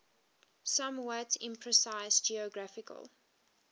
somewhat imprecise geographical